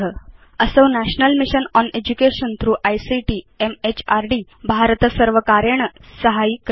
असौ national mission on education through ICT म्हृद् भारतसर्वकारेण साहाय्यीकृत